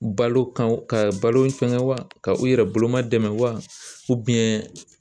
Balo kan ka balo fɛngɛ wa ka u yɛrɛ boloma dɛmɛ wa